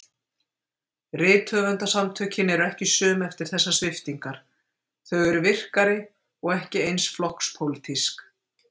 Rithöfundasamtökin eru ekki söm eftir þessar sviptingar, þau eru virkari- og ekki eins flokkspólitísk.